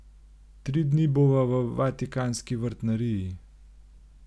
Tri dni bova v vatikanski vrtnariji.